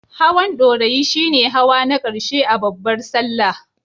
Hawan Ɗorayi shi ne hawa na ƙarshe a babbar Sallah.